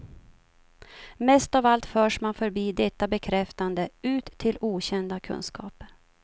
Mest av allt förs man förbi detta bekräftande, ut till okända kunskaper.